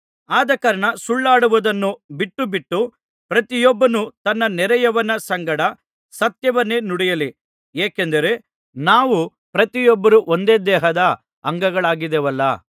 ಆದಕಾರಣ ಸುಳ್ಳಾಡುವುದನ್ನು ಬಿಟ್ಟುಬಿಟ್ಟು ಪ್ರತಿಯೊಬ್ಬನು ತನ್ನ ನೆರೆಯವನ ಸಂಗಡ ಸತ್ಯವನ್ನೇ ನುಡಿಯಲಿ ಏಕೆಂದರೆ ನಾವು ಪ್ರತಿಯೊಬ್ಬರೂ ಒಂದೇ ದೇಹದ ಅಂಗಗಳಾಗಿದ್ದೇವಲ್ಲಾ